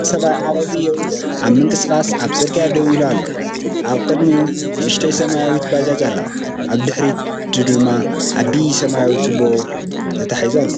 ኣብዛ ስእሊ ሓደ ሰብኣይ ዓረብያኡ ኣብ ምንቅስቓስ ኣብ ጽርግያ ደው ኢሉ ኣሎ። ኣብ ቅድሚኡ ንእሽቶ ሰማያዊት ባጃጅ ኣላ፣ ኣብ ድሕሪት ድማ ዓቢ ሰማያዊ ጎማ ቱቦ ተተሓሒዙ ኣሎ።